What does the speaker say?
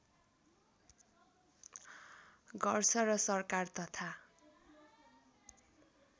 गर्छ र सरकार तथा